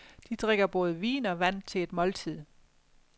De drikker både vin og vand til et måltid.